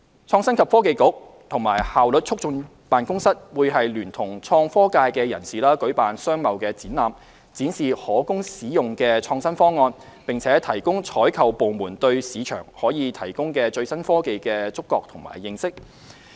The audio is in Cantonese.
創新及科技局和效率促進辦公室會聯同創科界人士舉辦商貿展覽，展示可供使用的創新方案，並提高採購部門對市場可提供的最新科技的觸覺和認識。